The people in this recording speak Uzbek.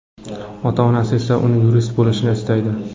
Ota-onasi esa uni yurist bo‘lishini istaydi.